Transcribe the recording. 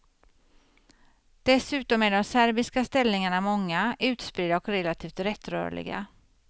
Dessutom är de serbiska ställningarna många, utspridda och relativt lättrörliga.